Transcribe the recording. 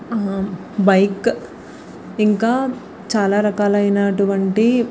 ఆ బైక్ ఇంకా చాల రకల అయినా అటువంటివి --